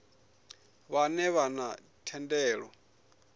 vhane vha vha na thendelo